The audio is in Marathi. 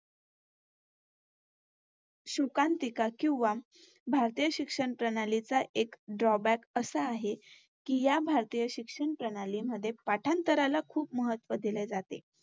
शोकांतिका किंवा भारतीय शिक्षण प्रणालीचा Drawback असा आहे कि या भारतीय शिक्षण प्रणालीमध्ये पाठांतराला खूप महत्तव दिले जाते.